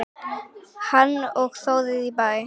Hanna og Þórir í Bæ.